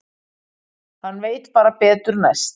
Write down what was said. Hann veit bara betur næst.